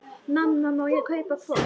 Mamma, má ég kaupa hvolp?